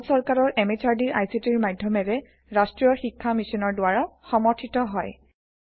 ই ভাৰত সৰকাৰৰ MHRDৰ ICTৰ মাধ্যমেৰে ৰাষ্ট্ৰীয় শীক্ষা Missionৰ দ্ৱাৰা সমৰ্থিত হয়